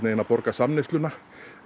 borga samneysluna